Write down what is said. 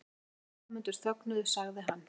Þegar kviðdómendur þögnuðu sagði hann